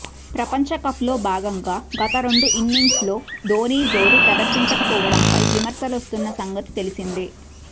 ప్రపంచ కప్లో భాగంగా గత రెండు ఇన్నింగ్స్లో ధోనీ జోరు ప్రదర్శించకపోవడంపై విమర్శలొస్తున్న సంగతి తెలిసిందే